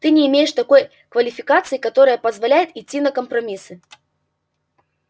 ты не имеешь такой квалификации которая позволяет идти на компромиссы